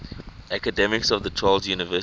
academics of the charles university